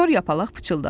Kor yapalaq pıçıldadı.